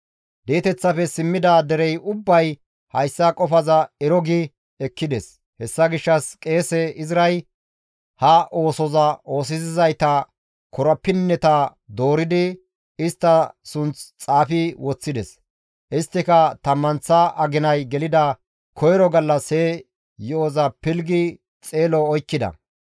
Di7eteththafe simmida dere ubbay hayssa qofaza ero gi ekkides; hessa gishshas qeese Izray ha oosoza oosisizayta korapinneta dooridi istta sunth xaafi woththides; isttika tammanththa aginay gelida koyro gallas he yo7oza pilggi xeelo oykkida.